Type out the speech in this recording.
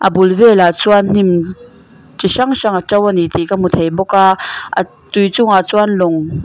bul velah chuan hnim chi hrang hrang a to ani tih ka hmu thei bawka a tui chungah chuan lawng.